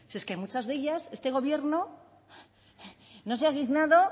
es que muchas de ellas este gobierno no se ha dignado